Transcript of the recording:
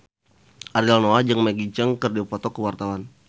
Ariel Noah jeung Maggie Cheung keur dipoto ku wartawan